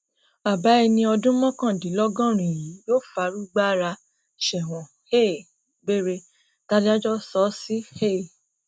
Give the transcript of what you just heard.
bàbá ẹni ọdún mọkàndínlọgọrin yìí yóò fàrúgba ara sẹwọn um gbére tàdájọ sọ ọ sí um